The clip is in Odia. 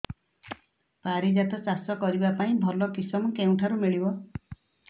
ପାରିଜାତ ଚାଷ କରିବା ପାଇଁ ଭଲ କିଶମ କେଉଁଠାରୁ ମିଳିବ